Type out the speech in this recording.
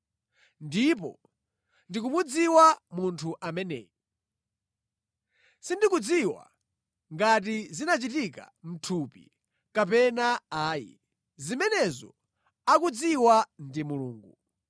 Ndipo ndikumudziwa munthu ameneyu. Sindikudziwa ngati zinachitika mʼthupi kapena ayi, zimenezo akudziwa ndi Mulungu.